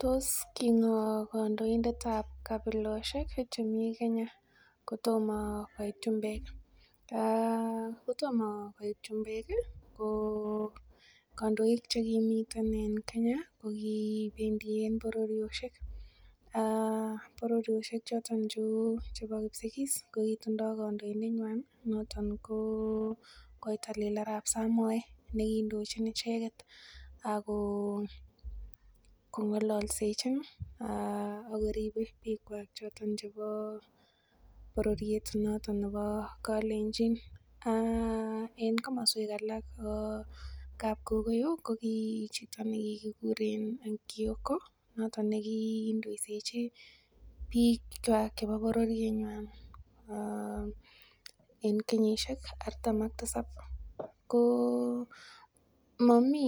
Tos ki ng'o kandoik ab kabilosiek che mii Kenya kotomo koit chumbek. Kotomo koit chumbek ii, ko kandoik che kimiten en Kenya kogibendien bororiosiek. Bororiosiek choto cheu chebo Kipsigis che kitindo kandoik kwak noton ko Koitalel Arap Samoe nekiindochin ago kong'ololsejin ago ribe bikwak choton chebo bororiet noto nebo Kalenjin. En komoswek alak kou kapkokoyo ko kimi chito ne kigikuren Kioko ko noto negindoisechi bikwak chebo bororienywan en kenyisiek artam ak tisab. Ko momi